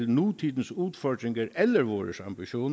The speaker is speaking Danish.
nutidens udfordringer eller vores ambitioner